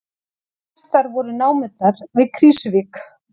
Mestar voru námurnar við Krýsuvík